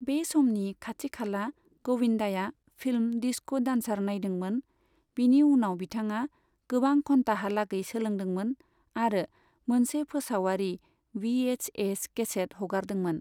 बे समनि खाथि खाला, गविंदाया फिल्म डिस्को डांसर नायदोंमोन, बिनि उनाव बिथाङा गोबां घन्ताहालागै सोलोंदोंमोन आरो मोनसे फोसावारि वि एच एस केसेत हगारदोंमोन।